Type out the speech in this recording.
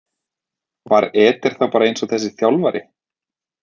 Var Eder þá bara eins og þessi þjálfari?